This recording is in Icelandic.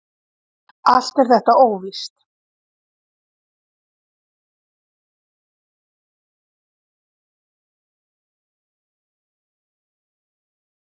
Allt er þetta óvíst.